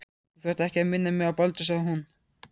Þú þarft ekki að minna mig á Baldur sagði hún.